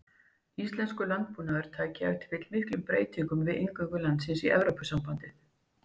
Íslenskur landbúnaður tæki ef til vill miklum breytingum við inngöngu landsins í Evrópusambandið.